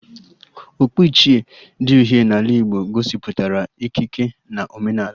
Okpu ichie dị uhie n'ala Igbo gosipụtara ikike na omenala